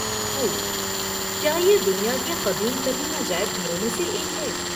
خوب! کیا یہ دنیا کے قدیم ترین عجائب گھروں میں سے ایک ہے؟